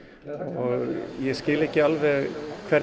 og ég skil ekki alveg